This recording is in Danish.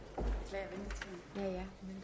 tak